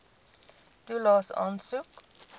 toelaes aansoek